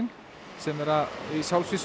sem eru í